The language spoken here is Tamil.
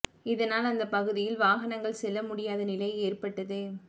இதனால் அந்த பகுதியில் வாகனங்கள் செல்ல முடியாத நிலை ஏற்பட்டது